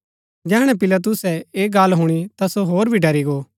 जैहणै पिलातुसै ऐह गल्ल हुणी ता सो होर भी ड़री गो